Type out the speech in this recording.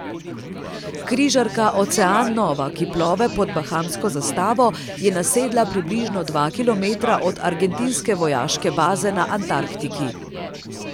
Križarka Ocean Nova, ki plove pod bahamsko zastavo, je nasedla približno dva kilometra od argentinske vojaške baze na Antarktiki.